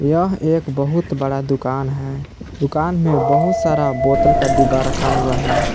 यह एक बहुत बड़ा दुकान है दुकान में बहुत सारा बोतल का डिब्बा रखा हुआ है।